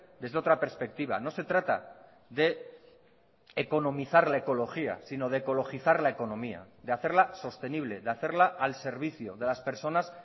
desde otra perspectiva no se trata de economizar la ecología sino de ecologizar la economía de hacerla sostenible de hacerla al servicio de las personas